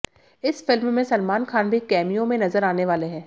इस फिल्म में सलमान खान भी कैमियों में नजर आने वाले हैं